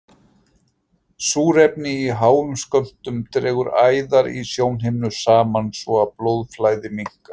Súrefni í háum skömmtum dregur æðar í sjónhimnu saman svo að blóðflæði minnkar.